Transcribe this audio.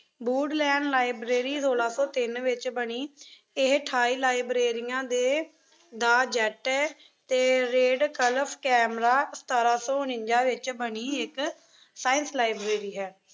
ਬੂਡ lane library ਸੌਲਾ ਤੋਂ ਤਿੰਨ ਵਿੱਚ ਬਣੀ। ਇਹ ਅਠਾਈ ਲਾਈਬ੍ਰੇਰੀਆਂ ਦੇ ਦਾ jet ਏ ਅਤੇ ਰੇਡ ਕਲਫ਼ ਕੈਮਰਾ ਸਤਾਰਾਂ ਸੌ ਉਨੰਜ਼ਾ ਵਿੱਚ ਬਣੀ ਇੱਕ science ਲਾਈਬ੍ਰੇਰੀ ਹੈ।